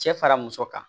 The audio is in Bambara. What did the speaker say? Cɛ fara muso kan